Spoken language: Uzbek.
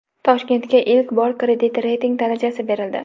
Toshkentga ilk bor kredit reyting darajasi berildi.